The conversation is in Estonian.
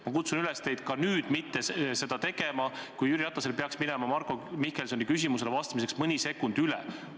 Ma kutsun üles teid ka nüüd mitte seda tegema, kui Jüri Ratasel peaks Marko Mihkelsoni küsimusele vastates mõni sekund üle minema.